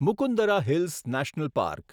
Mukundra hills national park